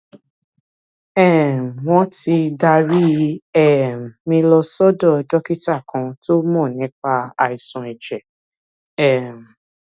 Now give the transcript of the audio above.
um wọn ti darí um mi lọ sọdọ dókítà kan tó mọ nípa àìsàn ẹjẹ um